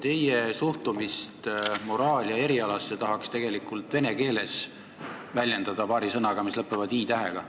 Teie suhtumist moraali ja erialasse tahaks tegelikult väljendada vene keeles paari sõnaga, mis lõpevad i-tähega.